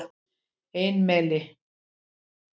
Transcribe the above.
Einimel